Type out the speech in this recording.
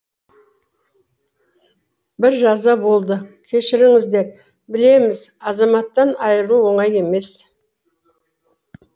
бір жаза болды кешіріңіздер білеміз азаматтан айырылу оңай емес